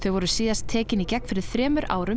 voru síðast tekin í gegn fyrir þremur árum